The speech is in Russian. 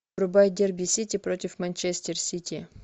врубай дерби сити против манчестер сити